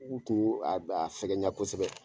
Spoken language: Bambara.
Ugu tun go a bɛ a fɛgɛnya kosɛbɛ